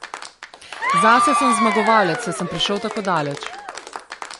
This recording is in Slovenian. Zase sem zmagovalec, saj sem prišel tako daleč.